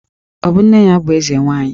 Ọ bụ nne ya bụ Eze nwaanyị?